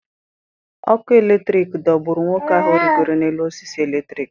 Ọkụ eletrik dogburu nwoke ahụ rịgoro n’elu osisi eletrik.